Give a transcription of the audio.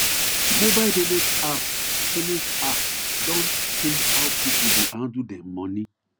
mobile payment app payment app don change how people dey handle dem money